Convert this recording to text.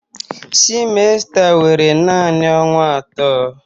semester were naanị ọnwa atọ